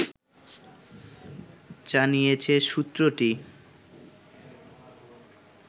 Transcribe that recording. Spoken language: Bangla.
জানিয়েছে সূত্রটি